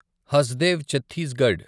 Hasdeo Chhattisgarh